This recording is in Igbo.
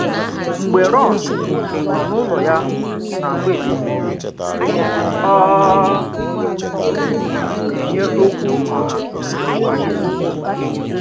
Mgbè Rọn nọ n’ụlọ ya n’agwaetiti, ọ na-enye okwu ọha kwà izu.